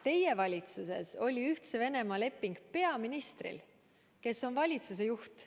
Teie valitsuses oli Ühtse Venemaaga leping peaministril, peaminister on valitsuse juht.